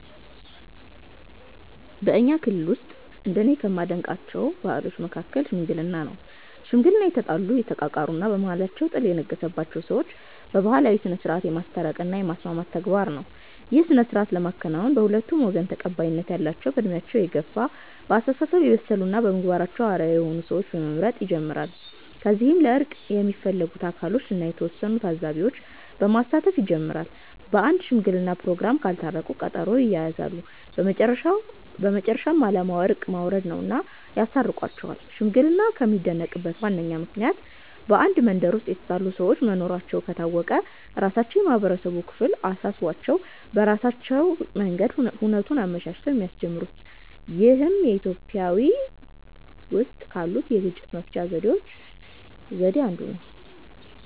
በኛ ክልል ውስጥ እንደኔ ከማደንቃቸው ባህሎች መሀከል "ሽምግልና" ነው። ሽምግልና የተጣሉ፣ የተቃቃሩ እና በመሃላቸው ጥል የነገሰባቸውን ሰዎች በባህላዊ ስነስርዓት የማስታረቅ እና የማስማማት ተግባር ነው። ይህን ስነስርዓት ለመከወን በሁለቱም ወገን ተቀባይነት ያላቸው በእድሜያቸው የገፍ፣ በአስተሳሰብ የበሰሉ እና በምግባራቸው አርአያ የሆኑ ሰዎችን በመምረጥ ይጀምራል። ከዚያም ለእርቅ የሚፈለጉት አካሎችን እና የተወሰኑ ታዛቢዎች በማሳተፍ ይጀመራል። በአንድ ሽምግለና ፕሮግራም ካልታረቁ ቀጠሮ ይያያዛል። በመጨረሻም አላማው እርቅ ማውረድ ነውና ያስታርቋቸዋል። ሽምግልና የሚደነቅበት ዋነኛው ምክንያት በአንድ መንደር ውስጥ የተጣሉ ሰዎች መኖራቸው ከታወቀ ራሳቸው የማህበረሰቡ ክፍል አሳስቧቸው በራሳቸው መንገድ ሁነቱን አመቻችተው የሚያስጀምሩት ይህም ኢትዮጵያዊ ውስጥ ካሉት የግጭት መፍቻ ዘዴ ነው።